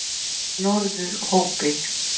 Norðurhópi